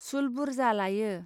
सुल बुरजा लायो.